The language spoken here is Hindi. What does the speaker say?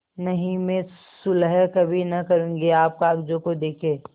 नहीं मैं सुलह कभी न करुँगी आप कागजों को देखें